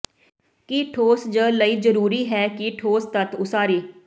ਕੀ ਠੋਸ ਜ ਲਈ ਜ਼ਰੂਰੀ ਹੈ ਕਿ ਠੋਸ ਤੱਤ ਉਸਾਰੀ